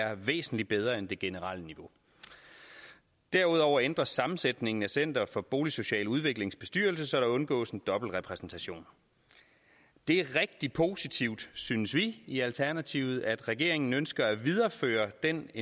er væsentlig bedre end det generelle niveau derudover ændres sammensætningen af center for boligsocial udviklings bestyrelse så der undgås en dobbeltrepræsentation det er rigtig positivt synes vi i alternativet at regeringen ønsker at videreføre den